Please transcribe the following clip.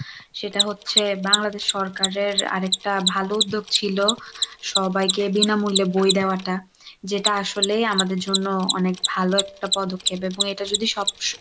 সেটা হচ্ছে বাংলাদেশ সরকারের আরেকটা ভালো উদ্যোগ ছিল সবাইকে বিনামূল্যে বই দেওয়াটা, যেটা আসলেই আমাদের জন্য অনেক ভালো একটা পদক্ষেপ এবং এটা যদি সব ,